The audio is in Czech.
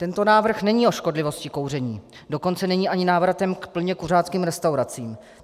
Tento návrh není o škodlivosti kouření, dokonce není ani návratem k plně kuřáckým restauracím.